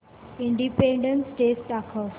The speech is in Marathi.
इंडिपेंडन्स डे दाखव